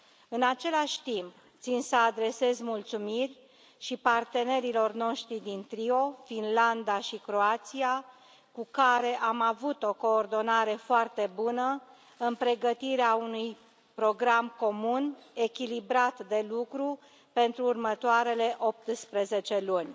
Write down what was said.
În același timp, țin să adresez mulțumiri și partenerilor noștri din trio, Finlanda și Croația, cu care am avut o coordonare foarte bună în pregătirea unui program comun echilibrat de lucru pentru următoarele optsprezece luni.